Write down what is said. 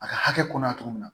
A ka hakɛ kɔnɔ a togo min na